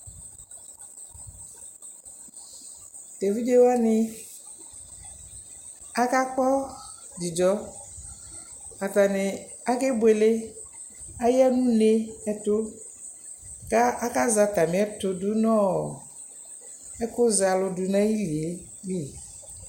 Tʋ evidze wanɩ akakpɔ dzidzɔ Atanɩ akebuele Atanɩ aya nʋ une ɛtʋ kʋ akazɛ atamɩ ɛtʋ dʋ nʋ ɔ ɛkʋzɛ alʋ dʋ nʋ ayili yɛ li